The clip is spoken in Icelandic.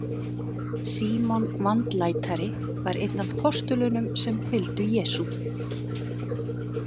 Símon vandlætari var einn af postulunum sem fygldu Jesú.